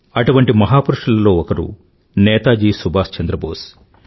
అటువంటి మహాపురుషులలో ఒకరే నేతాజీ సుభాష్ చంద్ర బోస్